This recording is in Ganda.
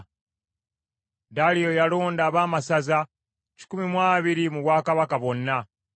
Daliyo yalonda abaamasaza kikumi mu abiri mu bwakabaka bwonna,